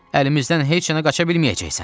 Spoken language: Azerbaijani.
Əlimizdən heç yana qaça bilməyəcəksən.